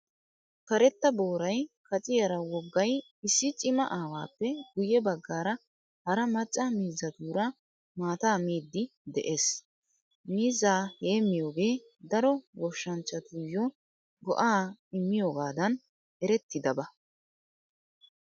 Karetta booray kaciyaara woggay issi Cima aawaappe guyye baggaara hara macca miizzatuura maataa miidi de'ees. Miizzaa heemiyoogee daro goshshanchatuyyo go"aa immiyoogan eretidabaa.